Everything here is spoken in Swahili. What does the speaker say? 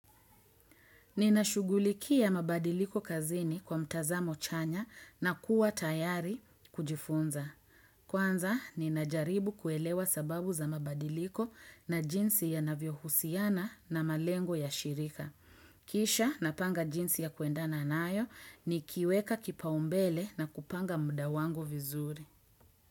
Ninashugulikia ya mabadiliko kazini kwa mtazamo chanya na kuwa tayari kujifunza. Kwanza, ninajaribu kuelewa sababu za mabadiliko na jinsi ya navyohusiana na malengo ya shirika. Kisha, napanga jinsi ya kuendana nayo nikiweke kipaumbele na kupanga muda wangu vizuri.